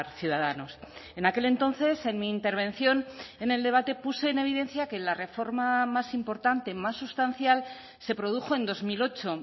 ciudadanos en aquel entonces en mi intervención en el debate puse en evidencia que la reforma más importante más sustancial se produjo en dos mil ocho